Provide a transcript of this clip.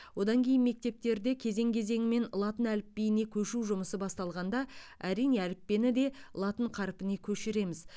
одан кейін мектептерде кезең кезеңімен латын әліпбиіне көшу жұмысы басталғанда әрине әліппені де латын қарпіне көшіреміз